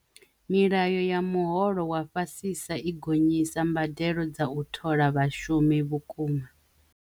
Milayo ya muholo wa fhasisa i gonyisa mbadelo dza u thola vhashumi vhukuma.